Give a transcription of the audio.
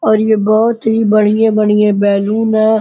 और ये बहुत ही बढ़िया-बढ़िए बैलून है।